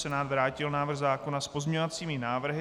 Senát vrátil návrh zákona s pozměňovacími návrhy.